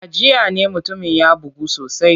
A jiya ne mutumin ya bugu sosai.